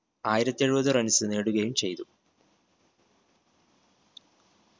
ആയിരത്തി എഴുപത് runs നേടുകയും ചെയ്തു